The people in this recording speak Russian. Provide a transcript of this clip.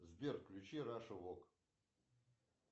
сбер включи раша вок